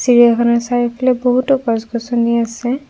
চিৰিয়াখানাৰ চৰিওফালে বহুতো গছ গছনি আছে।